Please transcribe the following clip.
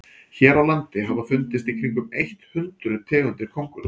hér á landi hafa fundist í kringum eitt hundruð tegundir köngulóa